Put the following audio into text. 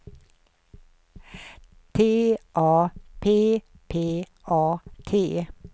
T A P P A T